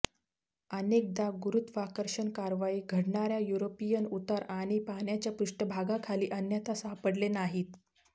अनेकदा गुरुत्वाकर्षण कारवाई घडणार्या युरोपिअन उतार आणि पाण्याच्या पृष्ठभागाखाली अन्यथा सापडले नाहीत